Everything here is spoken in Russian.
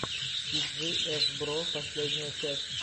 ти джи эф бро последняя часть